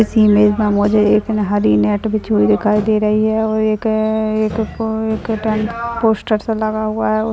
इस इमेज में एक हरी नेट रखी हुई दिखाई दे रही है एक एकक टेंट पोस्टर सा लगा हुआ है।